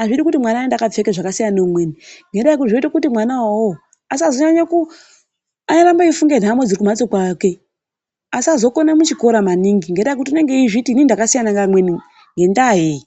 Azvidi kuti mwana aende akapfeka zvakasiyana neumweni ngendaa yekuti zvinoita kuti mwana uwowo arambe eifunga nhamo dziri kumhatso kwake asazokona muchikoro mwake maningi ngekuti anenge achizviti inini ndakasiyana neamweni ngendaa yeyi